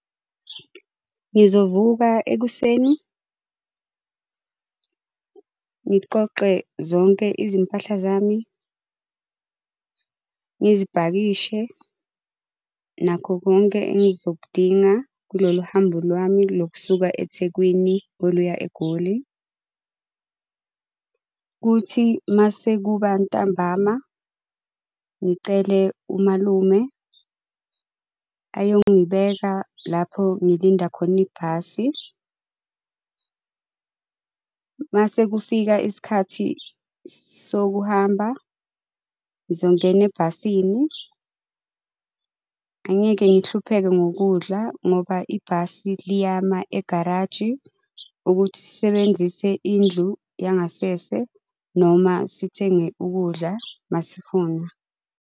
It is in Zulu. Ngizovuka ekuseni. Ngiqoqe zonke izimpahla zami ngizipakishe nakho konke engizokudinga kulolu hambo lwami lokusuka eThekwini oluya egoli. Kuthi masekuba ntambama ngicele umalume ayongibeka lapho ngilinda khona ibhasi. Mase kufika isikhathi sokuhamba ngizongena ebhasini, angeke ngihlupheke ngokudla ngoba ibhasi liyama egaraji, ukuthi sisebenzise indlu yangasese noma sithenge ukudla masifuna.